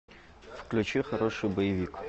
включи хороший боевик